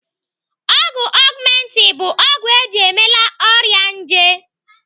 Ọgwụ Augmenti bụ ọgwụ eji emela ọrịa nje.